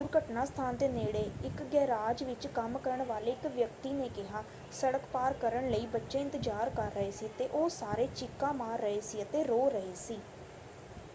ਦੁਰਘਟਨਾ ਸਥਾਨ ਦੇ ਨੇੜੇ ਇੱਕ ਗੈਰਾਜ ਵਿੱਚ ਕੰਮ ਕਰਨ ਵਾਲੇ ਇੱਕ ਵਿਅਕਤੀ ਨੇ ਕਿਹਾ: ਸੜਕ ਪਾਰ ਕਰਨ ਲਈ ਬੱਚੇ ਇੰਤਜ਼ਾਰ ਕਰ ਰਹੇ ਸੀ ਅਤੇ ਉਹ ਸਾਰੇ ਚੀਕਾ ਮਾਰ ਰਹੇ ਸੀ ਅਤੇ ਰੋ ਰਹੇ ਸੀ।